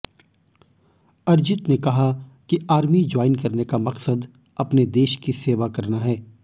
अर्जित ने कहा कि आर्मी ज्वाइन करने का मकसद अपने देश की सेवा करना है